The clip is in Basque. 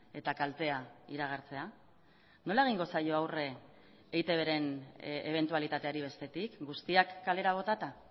eta kaltea iragartzea nola egingo zaio aurre eitb ren ebentualitateari bestetik guztiak kalera botata